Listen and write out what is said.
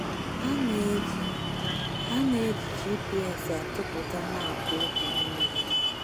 A na-eji A na-eji GPS atụpụta maapụ ubi niile.